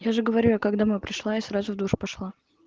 я же говорю я как домой пришла я сразу в душ пошла